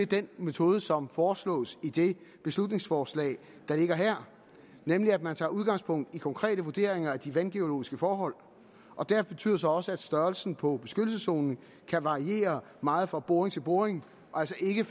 den metode som foreslås i det beslutningsforslag der ligger her nemlig at man tager udgangspunkt i konkrete vurderinger af de vandgeologiske forhold og det betyder så også at størrelsen på beskyttelseszonen kan variere meget fra boring til boring og altså ikke